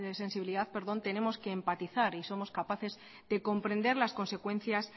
sensibilidad tenemos que empatizar y somos capaces de comprender las consecuencias